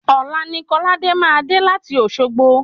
Òla ni kóláde máa dé láti Òsogbo